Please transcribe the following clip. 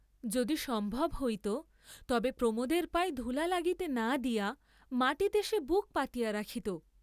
যদি সম্ভব হইত তবে প্রমোদের পায়ে ধূলা লাগিতে না দিয়া মাটীতে সে বুক পাতিয়া রাখিত।